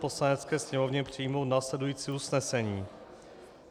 Poslanecké sněmovně přijmout následující usnesení: